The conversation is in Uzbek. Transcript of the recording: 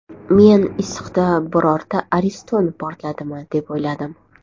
Men issiqda birorta ariston portladimi deb o‘yladim.